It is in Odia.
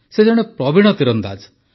ସେ ଜଣେ ପ୍ରବୀଣ ତୀରନ୍ଦାଜ